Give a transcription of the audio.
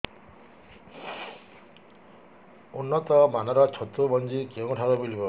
ଉନ୍ନତ ମାନର ଛତୁ ମଞ୍ଜି କେଉଁ ଠାରୁ ମିଳିବ